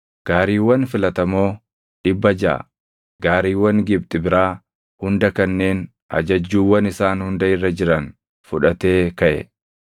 Gaariiwwan filatamoo dhibba jaʼa, gaariiwwan Gibxi biraa hunda kanneen ajajjuuwwan isaan hunda irra jiran fudhatee kaʼe.